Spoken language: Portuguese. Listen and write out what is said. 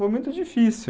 Foi muito difícil.